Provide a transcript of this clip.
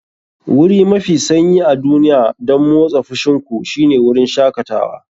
Wuri mafi sanyi a duniya don motsa fushin ku shine wurin shakatawa.